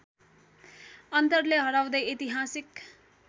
अन्तरले हराउँदै ऐतिहासिक